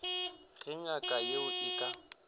ge ngaka yeo e ka